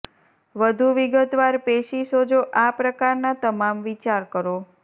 વધુ વિગતવાર પેશી સોજો આ પ્રકારના તમામ વિચાર કરો